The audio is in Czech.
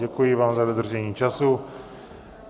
Děkuji vám za dodržení času.